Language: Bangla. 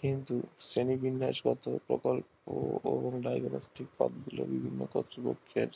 কিন্তু শ্রনীবিন্যাস গত প্রকল্প ও ডায়াগনস্টিক বিভিন্ন কতৃপক্ষের